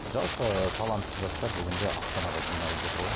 жалпы талантты жастар бүгінде астанаға жиналып жатыр ғой